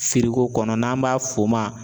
kɔnɔ n'an b'a f'o ma